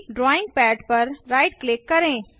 drawing pad पर right click करें